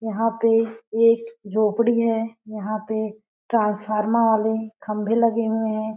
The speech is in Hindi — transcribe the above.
यहाँ पे एक झोपड़ी है। यहाँ पे ट्रांसफार्मा वाले खंभे लगे हुए हैं।